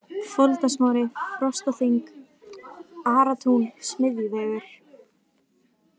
Foldarsmári, Frostaþing, Aratún, Smiðjuvegur